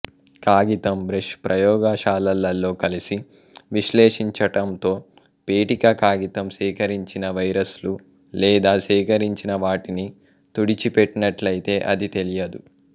కాగితం బ్రష్ ప్రయోగశాలలో కలిసి విశ్లేషించటంతో పేటిక కాగితం సేకరించిన వైరస్లు లేదా సేకరించిన వాటిని తుడిచిపెట్టినట్లయితే అది తెలియదు